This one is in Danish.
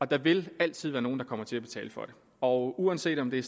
der vil altid være nogle der kommer til at betale for det og uanset om det